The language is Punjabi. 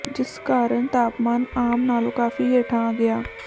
ਜਿਸ ਕਾਰਨ ਤਾਪਮਾਨ ਆਮ ਨਾਲੋਂ ਕਾਫ਼ੀ ਹੇਠਾਂ ਆ ਗਿਆ